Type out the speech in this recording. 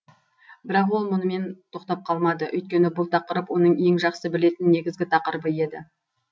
бірақ ол мұнымен тоқтап қалмады үйткені бұл тақырып оның ең жақсы білетін негізгі тақырыбы еді